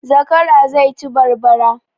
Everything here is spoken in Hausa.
Zakara zai ci barbara